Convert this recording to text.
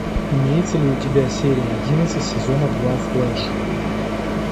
имеется ли у тебя серия одиннадцать сезона два флэш